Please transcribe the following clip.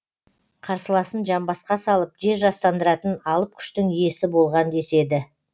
қарсыласын жамбасқа салып жер жастандыратын алып күштің иесі болған деседі